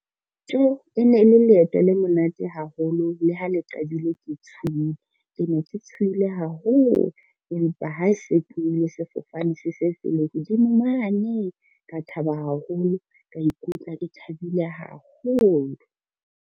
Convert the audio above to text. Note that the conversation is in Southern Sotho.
Tjo e ne e le leeto le monate haholo le ha le qadile ke tshohile. Ke ne ke tshohile haholo empa ha se tlohile sefofane se se se le hodimo mane ka thaba haholo, ka ikutlwa ke thabile haholo.